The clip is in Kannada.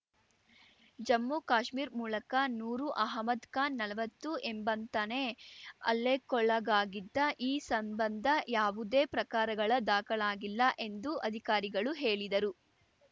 ಜಮ್ಮುಕಾಶ್ಮೀರ್ ಮೂಲಕ ನೂರ್‌ ಅಹಮ್ಮದ್‌ ಖಾನ್‌ ನಲ್ವತ್ತು ಎಂಬಂತಾನೇ ಹಲ್ಲೆಕೊಳಗಾಗಿದ್ದ ಈ ಸಂಬಂಧ ಯಾವುದೇ ಪ್ರಕಾರಗಳ ದಾಖಲಾಗಿಲ್ಲ ಎಂದು ಅಧಿಕಾರಿಗಳು ಹೇಳಿದರು